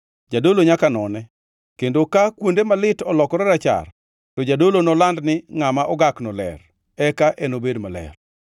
Jadolo nyaka none, kendo ka kuonde malit olokore rachar, to jadolo noland ni ngʼama ogakno ler; eka enobed maler.